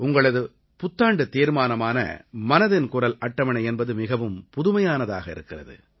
உங்களது புத்தாண்டுத் தீர்மானமான மனதின் குரல் அட்டவணை என்பது மிகவும் புதுமையானதாக இருக்கிறது